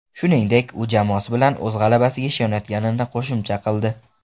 Shuningdek, u jamoasi bilan o‘z g‘alabasiga ishonayotganini qo‘shimcha qildi.